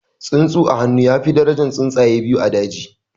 Tsuntsu a hannu ya fi darajan tsuntsaye biyu a daji